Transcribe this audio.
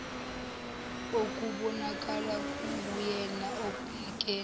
okubonakala kunguyena obhekene